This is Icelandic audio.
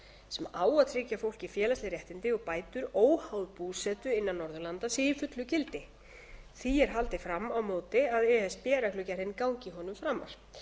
sem á að tryggja fólki félagsleg réttindi og bætur óháð búsetu innan norðurlanda sé í fullu gildi því er haldið fram á móti að e s b reglugerðin gangi honum framar